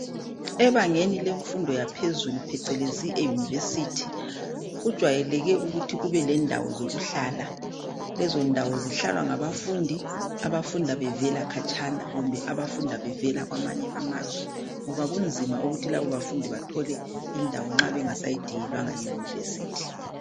Ebangeni lemfundo yaphezulu phecelezi eYunivesithi kujwayeleke ukuthi kube lendawo zokuhlala. Lezondawo zihlalwa ngabafundi abafunda bevelakhatshana kumbe abafunda bevela kwamanye amazwe ngoba kunzima ukuthi labo bafundi bathole indawo nxa bengasayidingelwanga yiyunivesithi